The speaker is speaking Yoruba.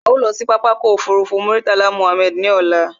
A ó lọ sí pápákọ̀ ọkọ̀ òfurufú Murtala Mohammed ní ọ̀la